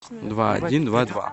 два один два два